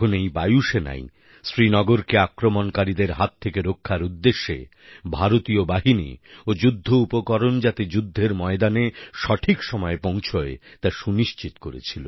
এই বায়ুসেনাই শ্রীনগরকে আক্রমণকারীদের হাত থেকে রক্ষার উদ্দেশ্যে ভারতীয় বাহিনী ও যুদ্ধোপকরণ যাতে যুদ্ধের ময়দানে সঠিক সময়ে পৌঁছয় তা সুনিশ্চিত করেছিল